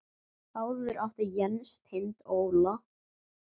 Áður átti Jens Tind Óla.